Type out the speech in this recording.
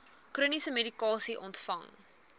chroniese medikasie ontvang